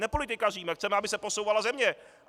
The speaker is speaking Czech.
Nepolitikaříme, chceme, aby se posouvala země.